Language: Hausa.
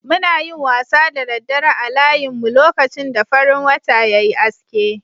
Muna yin wasa da daddare a layinmun, lokacin da farin wata ya yi aske.